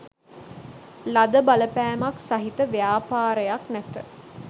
ලද බලපෑමක් සහිත ව්‍යාපාරයක් නැත.